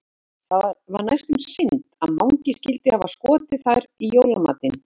Það var næstum synd að Mangi skyldi hafa skotið þær í jólamatinn.